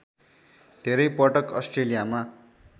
धेरै पटक अस्ट्रेलियामा